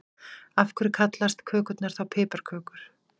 Af hverju kallast kökurnar þá piparkökur?